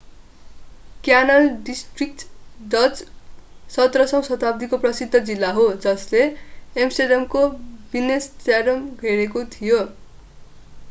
Canal district Dutch: Grachtengordel 17औँ शताब्दीको प्रसिद्ध जिल्ला हो जसले एम्स्टर्डमको बिन्नेन्स्ट्याड घेरेको थियो।